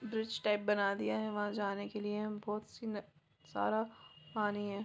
Bridge type बना दिया है वहाँ जाने के लिए बहुत सी सारा पानी है।